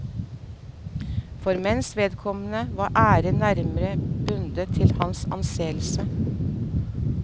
For menns vedkommende var æren nærmere bundet til hans anseelse.